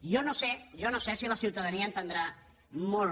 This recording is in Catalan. jo no sé jo no ho sé si la ciutadania entendrà molt